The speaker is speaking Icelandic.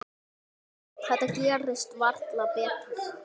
Þetta gerist varla betra.